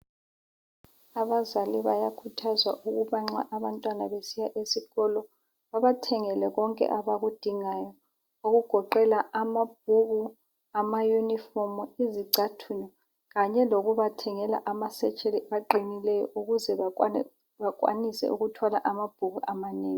Abazali bayakhuthazwa ukuba nxa abantwana besiya esikolo babathengele konke abakudingayo okugoqela amabhuku, amayunifomu, izicathulo, kanye lokubathengela ama setsheli aqinileyo ukuze bakwanise ukuthwala amabhuku amanengi